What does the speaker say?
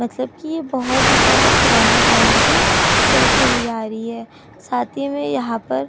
मतलब की बहुत ही ज्यादा पुराने टाइम से चलती हुई आ रही है। साथ ही मे यहाँ पर --